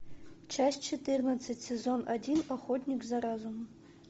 часть четырнадцать сезон один охотник за разумом